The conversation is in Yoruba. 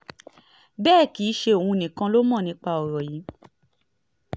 bẹ́ẹ̀ kì í ṣe òun nìkan ló mọ̀ nípa ọ̀rọ̀ yìí